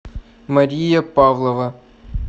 мария павлова